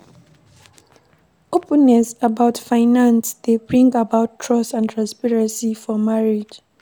openness about finance dey bring about trust and transparency for marriage